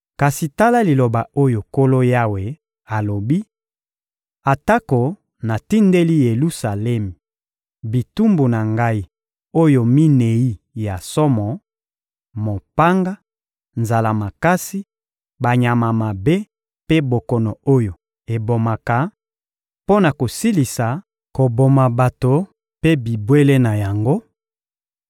Kasi tala liloba oyo Nkolo Yawe alobi: Atako natindeli Yelusalemi bitumbu na Ngai oyo minei ya somo: mopanga, nzala makasi, banyama mabe mpe bokono oyo ebomaka, mpo na kosilisa koboma bato mpe bibwele na yango,